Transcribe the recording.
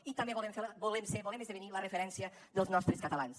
i també volem ser volem esdevenir la referència dels nostres catalans